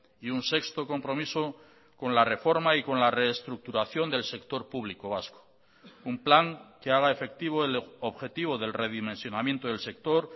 y un sexto compromiso con la reforma y con la reestructuración del sector público vasco un plan que haga efectivo el objetivo del redimensionamiento del sector